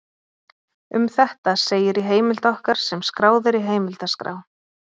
Um þetta segir í heimild okkar sem skráð er í heimildaskrá: